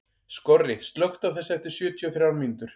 Skorri, slökktu á þessu eftir sjötíu og þrjár mínútur.